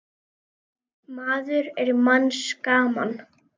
maður er manns gaman.